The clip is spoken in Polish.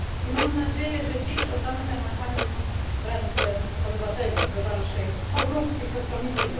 Mam nadzieję, że dziś oddamy ten mechanizm w ręce obywateli do dalszej obróbki przez Komisję.